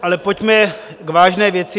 Ale pojďme k vážné věci.